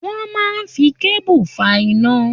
Wọ́n máa ń fi kébù fa iná.